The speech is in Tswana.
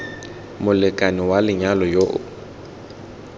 molekane wa lenyalo yo o